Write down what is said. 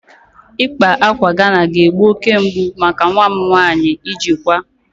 Ịkpa ákwà Ghana ga-egbu oke mgbu maka nwa m nwanyị ijikwa